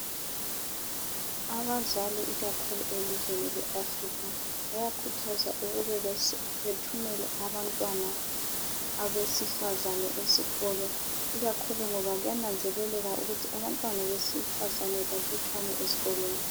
Abazali ikakhulu elizweni leAfrica bayakhuthazwa ukuba bethumele abantwana abesifazana esikolo ikakhulu ngoba kuyananzeleleka ukuthi abantwana besifazane balutshwane ezikolweni.